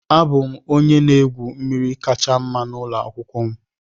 Abụ m onye na-egwu mmiri kacha mma n'ụlọ akwụkwọ m